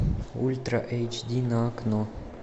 ультра эйч ди на окко